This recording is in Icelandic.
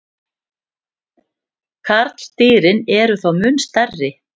Karldýrin eru þó mun stærri.